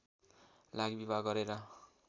लागि विवाह गरेर